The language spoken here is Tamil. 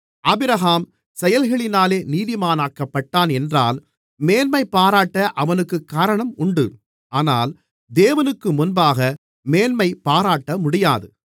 ஆபிரகாம் செயல்களினாலே நீதிமானாக்கப்பட்டான் என்றால் மேன்மைபாராட்ட அவனுக்குக் காரணம் உண்டு ஆனால் தேவனுக்குமுன்பாக மேன்மைபாராட்டமுடியாது